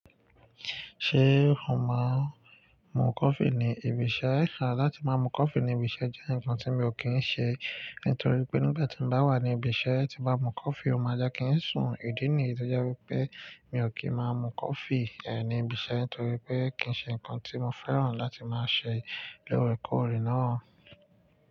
Ṣé o máa ń mu coffee ní ibi iṣẹ́? Rárá, láti máa mu coffee ní ibi iṣẹ́ jẹ́ nǹkan tí mi ò kí ń ṣe. Nítorí pé nígbà tí mo bá wà ní ibi iṣẹ́ tí bá mu coffee, ó máa jẹ́ kí ń sùn ìdí nì. Tó jẹ́ wípé mi ò kì í máa mu coffee ní ibi iṣẹ́ nítorí pé kì í ṣe nǹkan tí mo fẹ́ràn láti máa ṣe lórekọ̀rẹ́ náà.